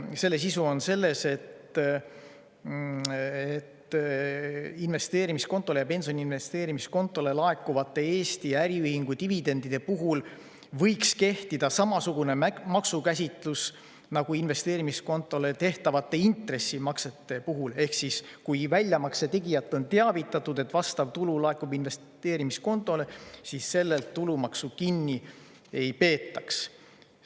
Selle sisu on selles, et investeerimiskontole ja pensioni investeerimiskontole laekuvate Eesti äriühingu dividendide puhul võiks kehtida samasugune maksukäsitlus nagu investeerimiskontole tehtavate intressimaksete puhul ehk kui väljamakse tegijat on teavitatud, et vastav tulu laekub investeerimiskontole, siis sellelt makselt tulumaksu kinni ei peetaks.